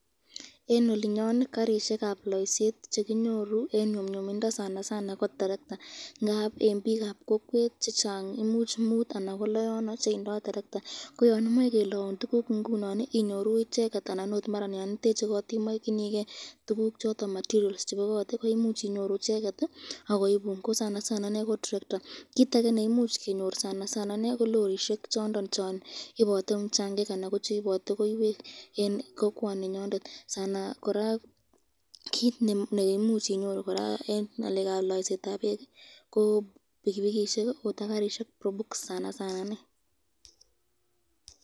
Eng olinyon karishekab laiset chekinyoru eng nyumnyumindo kko terekta